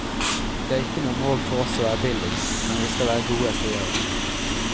Det er ikke noe mål for oss å være billigst, men vi skal være gode, sier hun.